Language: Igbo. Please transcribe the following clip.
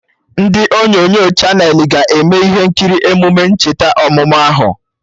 Ndị onyonyo Chanelị ga-eme ihe nkiri emume ncheta ọmụmụ ahụ